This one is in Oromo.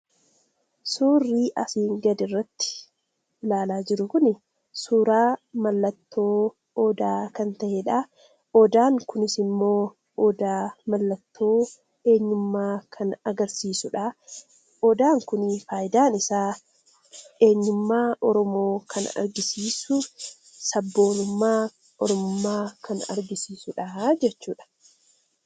Suurri asii gaditti ilaalaa jirru kun, suuraa mallattoo odaa kan ta'eedha. Odaan kunis immoo odaa mallattoo eenyummaa kan agarsiisudha. Odaan kun fayidaan isaa eenyummaa oromoo kan argisiisuuf sabboonummaa, oromummaa kan argisiisudha jechuudha.